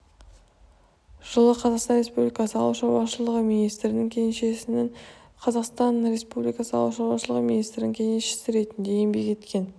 жылы қазақстан республикасы ауыл шаруашылығы министрінің кеңесшісінің қазақстан республикасы ауыл шаруашылығы министрінің кеңесшісі ретінде еңбек еткен